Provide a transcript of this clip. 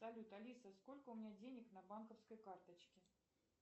салют алиса сколько у меня денег на банковской карточке